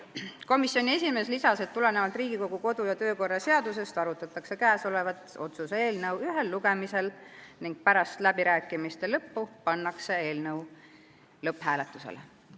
Komisjoni esimees märkis, et tulenevalt Riigikogu kodu- ja töökorra seadusest arutatakse selle otsuse eelnõu ühel lugemisel ning pärast läbirääkimiste lõppu pannakse eelnõu lõpphääletusele.